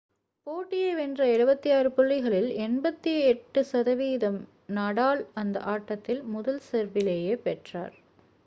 போட்டியை வென்ற 76 புள்ளிகளில் 88%-ஐ நடால் அந்த ஆட்டத்தில் முதல் செர்விலேயே பெற்றார்